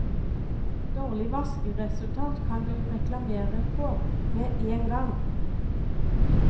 Dårlig vaskeresultat kan du reklamere på med én gang.